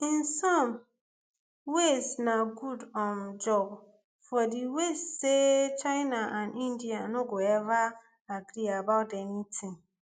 in some ways na good um job for di west say china and india no go ever agree about anytin